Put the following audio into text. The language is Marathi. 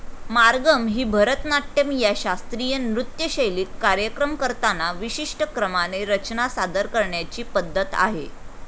मार्गम ही भरतनाट्यम या शास्त्रीय नृत्यशैलीत कार्यक्रम करताना विशिष्ट क्रमाने रचना सादर करण्याची पद्धत आहे.